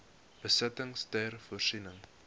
besittings ter voorsiening